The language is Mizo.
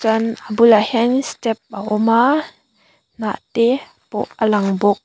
chuan a bulah hianin step a awm a hnah te pawh a lang bawk.